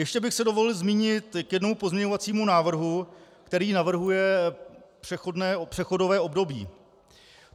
Ještě bych se dovolil zmínit k jednomu pozměňovacímu návrhu, který navrhuje přechodové období.